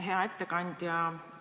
Hea ettekandja!